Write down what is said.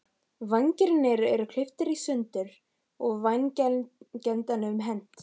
Vængirnir eru klipptir í sundur og vængendanum hent.